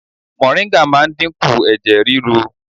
Moringa máa ń dínkù ẹ̀jẹ̀ rírú.